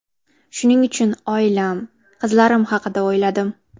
Shuning uchun oilam, qizlarim haqida o‘yladim.